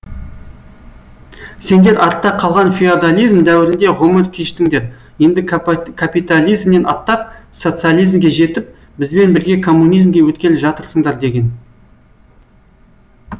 сендер артта қалған феодализм дәуірінде ғұмыр кештіңдер енді капитализмнен аттап социализмге жетіп бізбен бірге коммунизмге өткелі жатырсыңдар деген